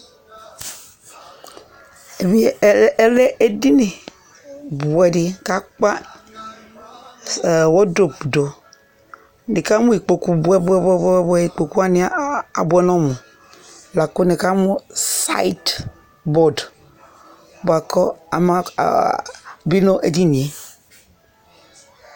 Ɛmɛ lɛ edini bʋɛdɩk'akpa s ɛɛ wodop dʋ; nɩkamʋ ikpoku bʋɛbʋɛbʋɛbʋɛ , ikpoku wanɩ a abʋɛ n'ɔmʋ, lakʋ nɩkamʋ sayɩt bɔd bʋa k'ɔ ama aaa bɩ n'edinie